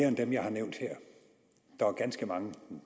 end dem jeg har nævnt her der er ganske mange